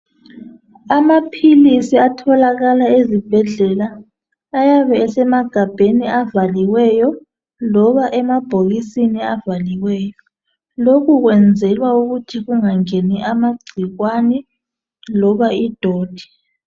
Amaphilisi atholakala ezibhedlela ayabe esemagabheni avaliweyo loba emabhokisini avaliweyo lokho kwenzelwa ukuthi kungangeni amagcikwane loba idoti.